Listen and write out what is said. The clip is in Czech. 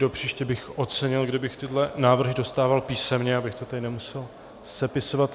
Pro příště bych ocenil, kdybych tyhle návrhy dostával písemně, abych to tady nemusel sepisovat.